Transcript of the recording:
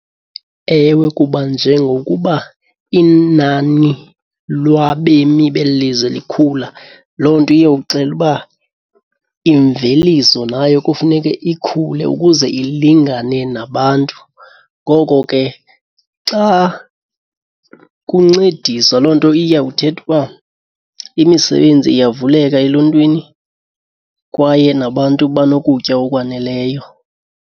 Ewe, kuba njengokuba inani lwabemi beli lizwe likhula loo nto iyoxela uba imveliso nayo kufuneke ikhule ukuze ilingane nabantu. Ngoko ke xa kuncediswa, loo nto iyawuthetha uba imisebenzi iyavuleka eluntwini kwaye nabantu banokutya okwaneleyo.